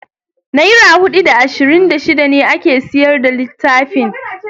Naira da hudu da ashirin da shida ne ake siyar da littafin.